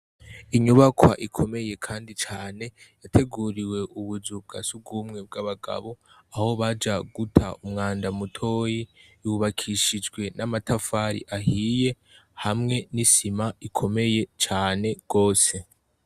Inyubakwa ikomeye kandi cane yateguriwe ubu nzu bwasugumwe bw'abagabo aho baja guta umwanda mutoyi, yubakishijwe namatafati ahiye hamwe n'isima ikomeye cane gose.